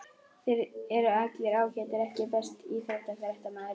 Þeir eru allir ágætir EKKI besti íþróttafréttamaðurinn?